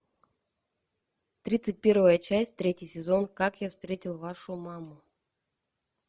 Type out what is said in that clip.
тридцать первая часть третий сезон как я встретил вашу маму